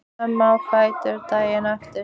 Hann fer snemma á fætur daginn eftir.